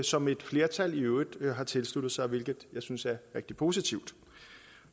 som et flertal i øvrigt har tilsluttet sig hvilket jeg synes er rigtig positivt